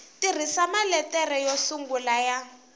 tirhisa maletere yo sungula ya